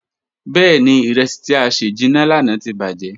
Bẹẹni, iresi ti a sẹ jinna lana ti bajẹ.